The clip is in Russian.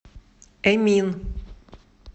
эмин